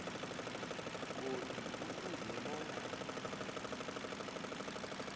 godu kufuze bona